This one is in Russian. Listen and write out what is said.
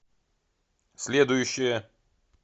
следующая